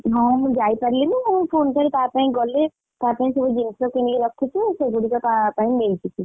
ହଁ ମୁଁ ଯାଇ ପାରିଲିନି ମୁଁ ପୁଣି ଥରେ ତା ପାଇଁ ଗଲେ ତା ପାଇଁ ସବୁ ଜିନିଷ କିଣିକି ରଖିଛି ସେଗୁଡିକ ତା ପାଇଁ ନେଇକି ଯିବି।